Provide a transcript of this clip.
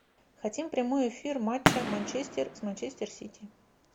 хотим прямой эфир матча манчестер с манчестер сити